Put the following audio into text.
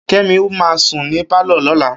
Kemi ma sùn ní pálọ̀ lọ́la